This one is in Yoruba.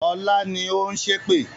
Ọlá ni ó ń ṣépè